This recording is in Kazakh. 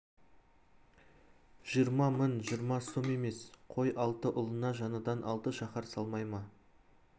жиырма мың жиырма сом емес қой алты ұлына жаңадан алты шаһар салмай ма